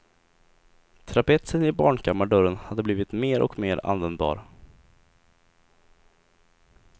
Trapetsen i barnkammardörren hade blivit mer och mer användbar.